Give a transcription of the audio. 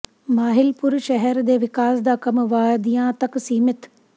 ਮਾਹਿਲਪੁਰ ਸ਼ਹਿਰ ਦੇ ਵਿਕਾਸ ਦਾ ਕੰਮ ਵਾਅਦਿਆਂ ਤੱਕ ਸੀਮਿਤ